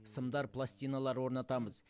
сымдар пластиналар орнатамыз